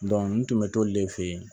n tun bɛ t'olu de fe yen